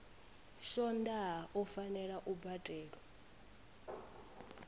swondaha u fanela u badelwa